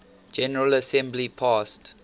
general assembly passed